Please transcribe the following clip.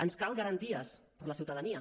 ens cal garanties per a la ciutadania